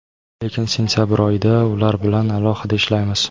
Lekin sentabr oyida ular bilan alohida ishlaymiz.